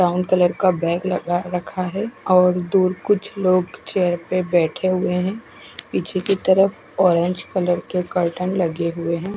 Brown colour का bag रखा है और दो कुछ लोग चेयर पर बेठे हुए है पीछे की तरफ ऑरेंज कलर के कर्टन लगे है।